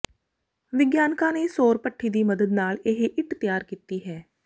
ਵਿਗਿਆਨਕਾਂ ਨੇ ਸੌਰ ਭੱਠੀ ਦੀ ਮਦਦ ਨਾਲ ਇਹ ਇੱਟ ਤਿਆਰ ਕੀਤੀ ਹੈ